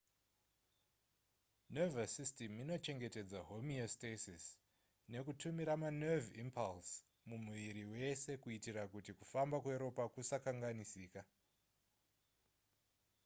nervous system inochengetedza homeostasis nekutumira manerve impulse mumuviri wese kuitira kuti kufamba kweropa kusakanganisika